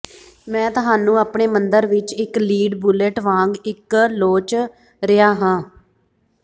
ਮੈਂ ਤੁਹਾਨੂੰ ਆਪਣੇ ਮੰਦਰ ਵਿੱਚ ਇੱਕ ਲੀਡ ਬੁਲੇਟ ਵਾਂਗ ਇੱਕ ਲੋਚ ਰਿਹਾ ਹਾਂ